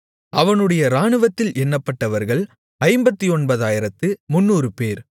அவனுடைய இராணுவத்தில் எண்ணப்பட்டவர்கள் 59300 பேர்